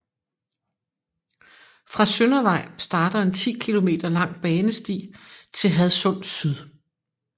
Fra Søndervej starter en 10 km lang banesti til Hadsund Syd